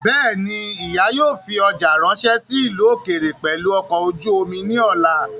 Bẹ́ẹ̀ni, ìyá yóò fi ọjà ráńṣẹ́ sí ìlú ókéré pẹ̀lú ọkọ̀ ojú omi ní ọ̀la